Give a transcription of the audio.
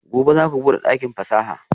Gobe ​​zaku bude dakin fasaha?